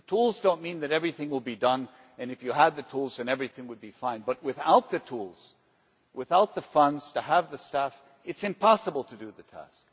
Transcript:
The tools do not mean that everything will be done, and if you had the tools, then everything would be fine. But without the tools, without the funds to have the staff, it is impossible to do the task.